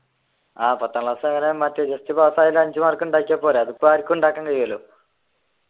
പത്താം ക്ലാസ്സങ്ങനെ just പാസാകാൻ അഞ്ചു മാർക്ക് ഉണ്ടായേക്കിയാൽ പോരെ അതിപ്പോ ആർക്കും ഉണ്ടാക്കാൻ കഴിയുമല്ലോ